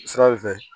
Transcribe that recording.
Sira in fɛ